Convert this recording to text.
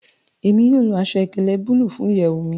Emi yóò lo aṣọ-ìkéle bulu fun iyẹwu mi